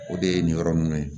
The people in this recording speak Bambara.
O de ye nin yɔrɔ nunnu ye